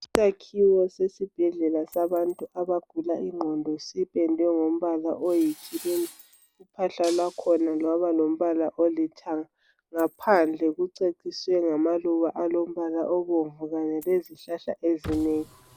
Isakhiwo sesibhedlela sabantu abagula ingqondo. Sipendwe ngombala oyikhirimu. Uphahla kwakhona lwaba lombala olithanga. Ngaphandoe kuceciswe ngamaluba alombala obomvu. Kanye lezihlahla ezinengi.